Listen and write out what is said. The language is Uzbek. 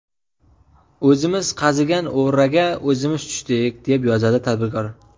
O‘zimiz qazigan o‘raga o‘zimiz tushdik”, deb yozadi tadbirkor.